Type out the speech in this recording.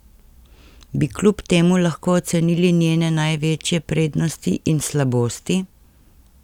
Bi kljub temu lahko ocenili njene največje prednosti in slabosti?